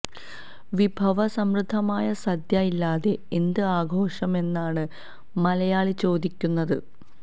വിഭവ സമൃദ്ധമായ സദ്യ ഇല്ലാതെ എന്ത് ആഘോഷമെന്നാണ് മലയാളി ചോദിക്കുന്നത്